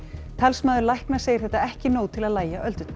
talsmaður lækna segir þetta ekki nóg til að lægja öldurnar